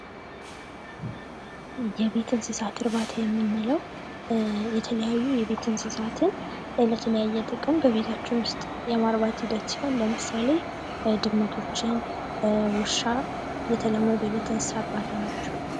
የቤት እንስሳት እርባታ የምንለው የተለያዩ የቤት እንስሳት ለተለያየ ጥቅም በቤታችን ውስጥ የማርባት ሂደት ሲሆን ለምሳሌ ድመቶችን ፣ውሻ የተለመዱ የቤት እንስሳት እርባታ ናቸው።